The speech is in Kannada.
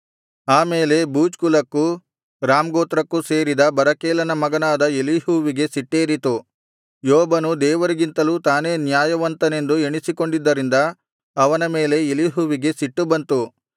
ಆಮೇಲೆ ಬೂಜ್ ಕುಲಕ್ಕೂ ರಾಮ್ ಗೋತ್ರಕ್ಕೂ ಸೇರಿದ ಬರಕೇಲನ ಮಗನಾದ ಎಲೀಹುವಿಗೆ ಸಿಟ್ಟೇರಿತು ಯೋಬನು ದೇವರಿಗಿಂತಲೂ ತಾನೇ ನ್ಯಾಯವಂತನೆಂದು ಎಣಿಸಿಕೊಂಡಿದ್ದರಿಂದ ಅವನ ಮೇಲೆ ಎಲೀಹುವಿಗೆ ಸಿಟ್ಟು ಬಂತು